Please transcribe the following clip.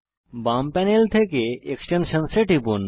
বাম প্যানেল থেকে এক্সটেনশনসহ এ টিপুন